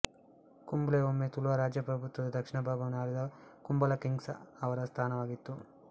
ಕುಂಬ್ಳೆ ಒಮ್ಮೆ ತುಳುವ ರಾಜಪ್ರಭುತ್ವದ ದಕ್ಷಿಣ ಭಾಗವನ್ನು ಆಳಿದ ಕುಂಬಳ ಕಿಂಗ್ಸ ಅವರ ಸ್ಥಾನವಾಗಿತ್ತು